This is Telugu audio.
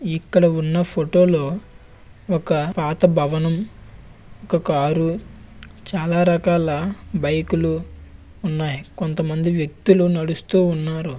తారత భవనం ఇక్కడ ఉన్న ఫొటో లో ఒక పాత భవనం ఒక కార్ చాలా రకాల బైక్‌ లు ఉన్నాయి. కొంతమంది వ్యక్తులు నడుస్తూ ఉన్నారు. దీంతో చాలాగా ఉంది--